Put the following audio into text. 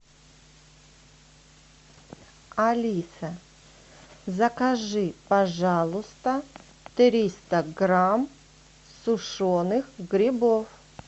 алиса закажи пожалуйста триста грамм сушеных грибов